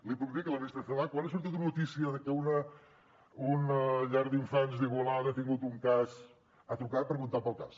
li puc dir que la ministra celaá quan li ha sortit una notícia de que una llar d’infants d’igualada ha tingut un cas ha trucat preguntant pel cas